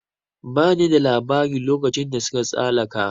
Ba ni da labari lokacin da suka tsalaka